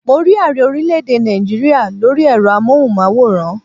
Mo rí ààrẹ orílẹ̀ èdè Náìjíríà lórí ẹ̀rọ amóhùnmáwòrán